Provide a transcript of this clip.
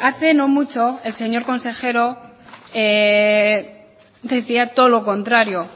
hace no mucho el señor consejero decía todo lo contrario